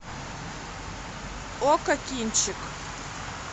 окко кинчик